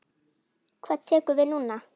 Hvað tekur við núna?